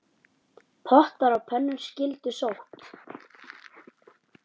Pottar og pönnur skyldu sótt.